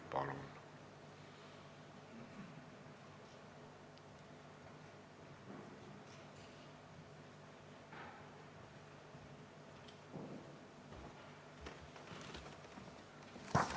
Palun!